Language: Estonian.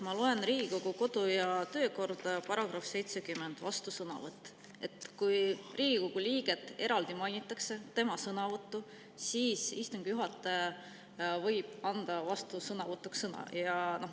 Ma loen Riigikogu kodu‑ ja töökorda, § 70 "Vastusõnavõtt", kus on öeldud, et kui Riigikogu liiget eraldi mainitakse, tema sõnavõttu, siis võib istungi juhataja anda vastusõnavõtuks sõna.